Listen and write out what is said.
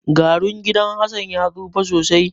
Garun gidan Hassan ya tsufa sosai.